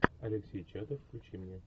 алексей чадов включи мне